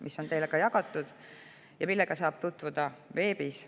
See on teile välja jagatud ja sellega saab tutvuda ka veebis.